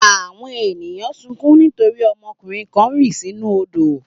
Àwọn ènìyàn sunkún nítorí ọmọkùnrin kan rì sínú odò.